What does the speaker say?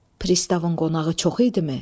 Pristavın qonağı çox idimi?